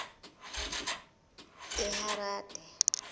eharade